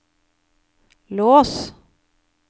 lås